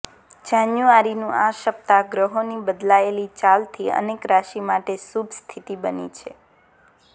જાન્યુઆરીનું આ સપ્તાહ ગ્રહોની બદલાયેલી ચાલથી અનેક રાશિ માટે શુભ સ્થિતિ બની છે